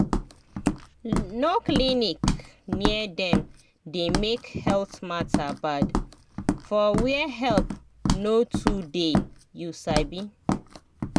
no clinic near dem dey make health matter bad for where help no too dey you sabi